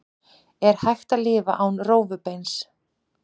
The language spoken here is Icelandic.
er hægt að lifa án rófubeins